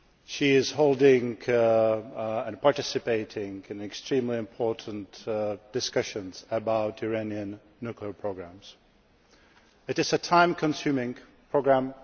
She is holding and participating in extremely important discussions about Iranian nuclear programmes. It is a time consuming programme.